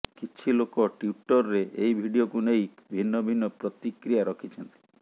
କିଛି ଲୋକ ଟ୍ବିଟରରେ ଏହି ଭିଡ଼ିଓକୁ ନେଇ ଭିନ୍ନ ଭିନ୍ନ ପ୍ରତିକ୍ରିୟା ରଖିଛନ୍ତି